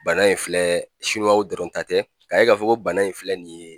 Bana in filɛ sinuwaw dɔrɔn ta tɛ k'a ye k'a fɔ ko bana in filɛ nin ye.